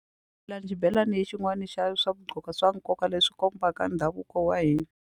xibelani xin'wani xa swa gqoka swa nkoka leswi kombaka ndhavuko wa hina.